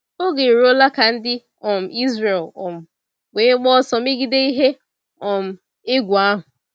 Oge eruola ka ndị um Ịzrel um wee gbaa ọsọ megide ihe um egwu ahụ.